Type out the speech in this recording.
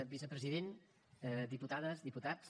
vicepresident diputades diputats